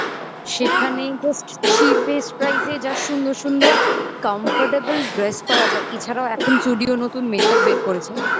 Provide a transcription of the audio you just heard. সেখানে just cheapest price এ যা সুন্দর সুন্দর comfortable dress পাওয়া যায় এছাড়াও এখন Zudio নতুন makeup বের করেছে